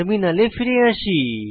টার্মিনালে ফিরে আসি